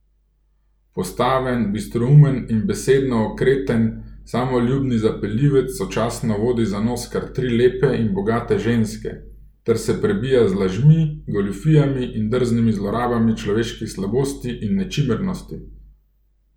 Postaven, bistroumen in besedno okreten samoljubni zapeljivec sočasno vodi za nos kar tri lepe in bogate ženske ter se prebija z lažmi, goljufijami in drznimi zlorabami človeških slabosti in nečimrnosti.